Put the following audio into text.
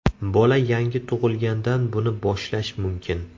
Bola yangi tug‘ilgandan buni boshlash mumkin.